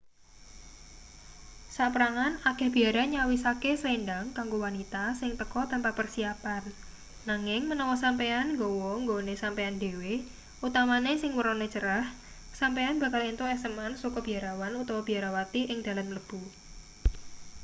saperangan akeh biara nyawisake slendhang kanggo wanita sing teka tanpa persiapan nanging menawa sampeyan nggawa nggone sampeyan dhewe utamane sing wernane cerah sampeyan bakal entuk eseman saka biarawan utawa biarawati ing dalan mlebu